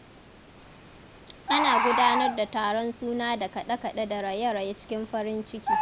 Ana gudanar da taron suna da kaɗe-kaɗe da raye-raye cikin farin ciki.